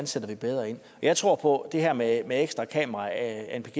sætter bedre ind jeg tror på at det her med ekstra kameraer anpg